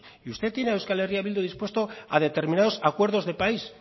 y usted tiene a euskal herria bildu dispuesto a determinados acuerdos de país